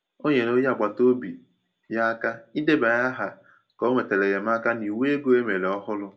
Ọ nyere onye agbata obi ya aka idebanye aha ka o nwetara enyemaka n’iwu ego e mere ọhụrụ.